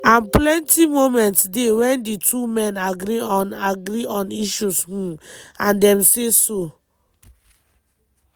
and plenty moments dey wen di two men agree on agree on issues um – and dem say so.